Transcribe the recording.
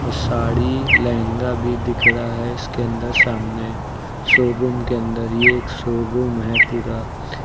और साड़ी लहंगा भी दिख रहा है इसके अंदर सामने शोरूम के अंदर ये एक शोरूम है पूरा --